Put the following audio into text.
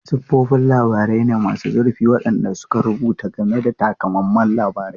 Siffofin labarai ne masu zurfi waɗanda suka rubuta game da takamaiman labarai.